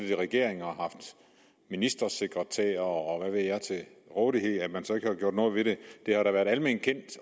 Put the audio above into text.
i regering og haft ministersekretærer og hvad ved jeg til rådighed hvorfor man så ikke har gjort noget ved det det har da været alment kendt